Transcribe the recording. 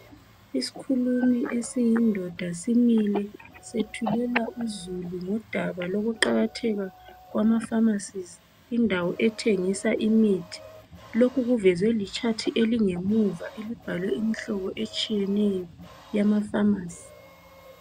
Isikhulumi esiyindoda simile sethulela uzulu ngodaba lokuqakatheka kwamafamasi indawo ethengisa imithi. Lokhu kuvezwe ligwaliba elisemuva elibhalwe imihlobo etshiyeneyo yamafamasi.